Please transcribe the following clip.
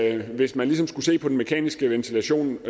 at hvis man ligesom skulle se på den mekaniske ventilation